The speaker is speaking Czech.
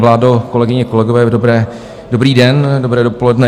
Vládo, kolegyně, kolegové, dobrý den, dobré dopoledne.